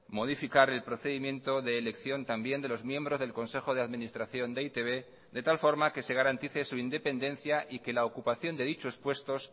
modificar el procedimiento de elección también de los miembros del consejo de administración de e i te be de tal forma que se garantice su independencia y que la ocupación de dichos puestos